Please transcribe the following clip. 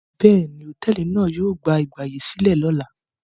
Bẹ́ẹ̀ni, hòtẹ́ẹ́lì náà yóò gba ìgbàyèsílẹ̀ lọ́la.